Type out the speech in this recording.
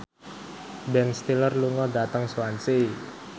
Ben Stiller lunga dhateng Swansea